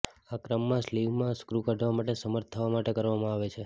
આ ક્રમમાં સ્લીવમાં સ્ક્રૂ કાઢવા માટે સમર્થ થવા માટે કરવામાં આવે છે